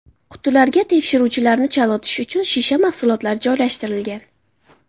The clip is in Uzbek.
Qutilarga tekshiruvchilarni chalg‘itish uchun shisha mahsulotlar joylashtirilgan.